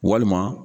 Walima